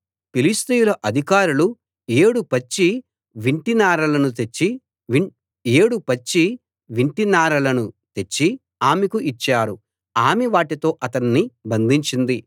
ఫిలిష్తీయుల అధికారులు ఏడు పచ్చి వింటినారలను తెచ్చి ఆమెకు ఇచ్చారు ఆమె వాటితో అతణ్ణి బంధించింది